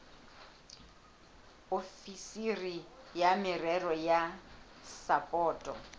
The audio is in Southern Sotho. ofisiri ya merero ya sapoto